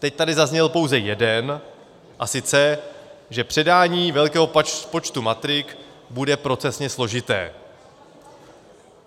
Teď tady zazněl pouze jeden, a sice že předání velkého počtu matrik bude procesně složité.